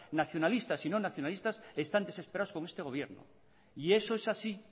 nacionalistas y no nacionalistas están desesperados con este gobierno y eso es así